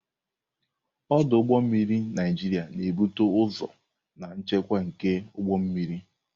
Ọdụ ụgbọ mmiri Naịjiria na-ebute ụzọ na nchekwa nke ụgbọ mmiri.